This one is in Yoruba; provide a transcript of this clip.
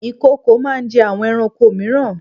Ìkokò máa ń jẹ́ àwọn ẹranko mìíran.